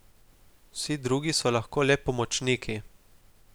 Vsi drugi so lahko le pomočniki.